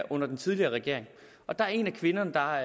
under den tidligere regering og der er en af kvinderne der